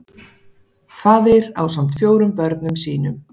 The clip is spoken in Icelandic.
Faðir ásamt fjórum börnum sínum